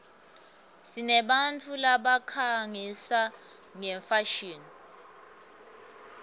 sinebantfu labakhangisa ngefashini